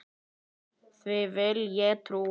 Því vill ég trúa.